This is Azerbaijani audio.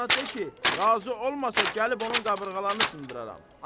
Qızına de ki, razı olmasa gəlib onun qabırğalarını sındıraram!